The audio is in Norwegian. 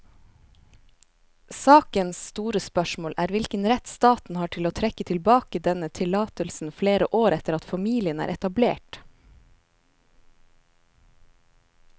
Sakens store spørsmål er hvilken rett staten har til å trekke tilbake denne tillatelsen flere år etter at familien er etablert.